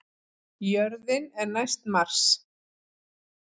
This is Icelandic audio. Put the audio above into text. Jörðin er næst Mars!